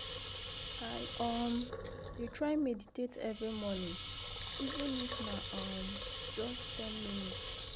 i um dey try meditate every morning even if na um just ten minutes.